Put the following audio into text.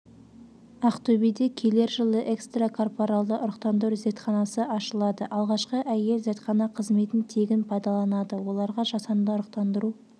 ақтөбеде келер жылы экстракорпоралды ұрықтандыру зертханасы ашылады алғашқы әйел зертхана қызметін тегін пайдаланады оларға жасанды ұрықтандыру